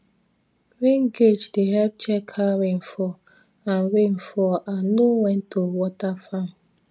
rain gauge dey help check how rain fall and rain fall and know when to water farm